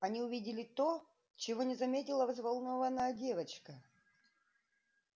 они увидели то чего не заметила взволнованная девочка